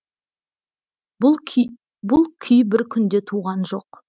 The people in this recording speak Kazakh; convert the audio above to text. бұл күй бір күнде туған жоқ